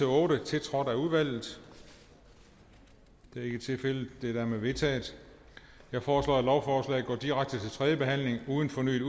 otte tiltrådt af udvalget det er ikke tilfældet de er dermed vedtaget jeg foreslår at lovforslaget går direkte til tredje behandling uden fornyet